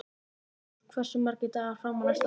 Dagþór, hversu margir dagar fram að næsta fríi?